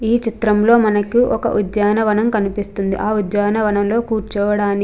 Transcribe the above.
ఈ చిత్రంలో మనకు ఒక ఉద్యానవనం కనిపిస్తుంది. ఆ ఉద్యానవనంలో కూర్చోవడానికి --